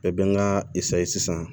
Bɛɛ bɛ n ka sisan